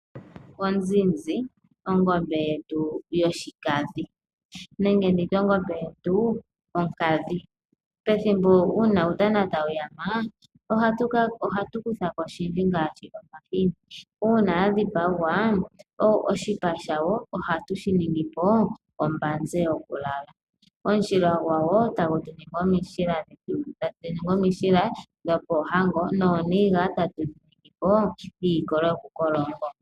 Onzinzi ongombe yetu yonkadhi. Pethimbo uutana tawu yama ohatu kutha ko oshindji ngaashi omahini. Uuna ya dhipagwa, oshipa shawo ohatu shi ningi po ombanza yokulala. Omushila gwawo tagu ningwa omushila gokuligolitha ohango nooniga tatu dhi ningi po iikolo yo ku kola oongongo.